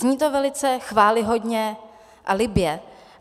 Zní to velice chvályhodně a libě.